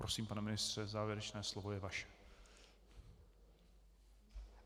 Prosím, pane ministře, závěrečné slovo je vaše.